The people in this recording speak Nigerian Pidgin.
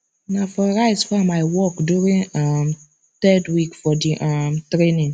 na for rice farm i work during um third week for the um training